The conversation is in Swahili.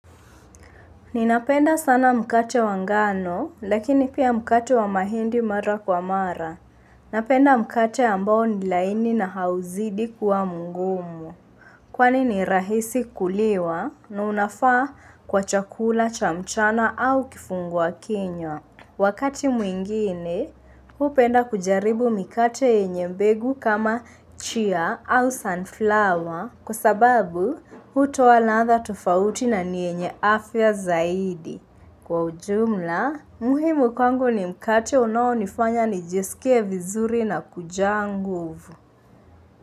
Ninapenda sana mkate wangano, lakini pia mkate wa mahindi mara kwa mara. Napenda mkate ambao nilaini na hauzidi kuwa mngumu. Kwani ni rahisi kuliwa na unafaa kwa chakula cha mchana au kifungua kinywa Wakati mwingine, hupenda kujaribu mkate yenye mbegu kama chia au sunflower. Kwa sababu, hutoa ladha tofauti na nyenye afya zaidi. Kwa ujumla, muhimu kwangu ni mkate unao nifanya nijesikie vizuri na kujangu nguvu.